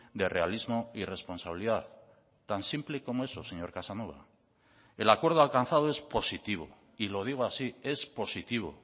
de realismo y responsabilidad tan simple como eso señor casanova el acuerdo alcanzado es positivo y lo digo así es positivo